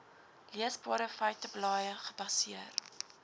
leesbare feiteblaaie gebaseer